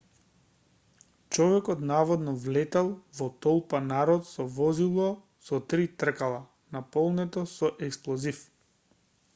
човекот наводно влетал во толпа народ со возило со три тркала наполнето со експлозив